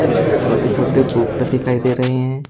छो छोटे छोटे दिखाई दे रहे हैं।